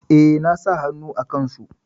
E, na sa hannu a kansu.